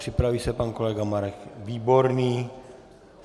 Připraví se pan kolega Marek Výborný.